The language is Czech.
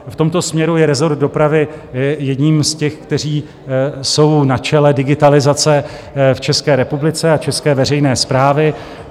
V tomto směru je rezort dopravy jedním z těch, které jsou na čele digitalizace v České republice a české veřejné správy.